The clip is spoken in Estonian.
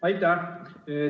Aitäh!